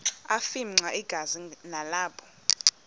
afimxa igazi nalapho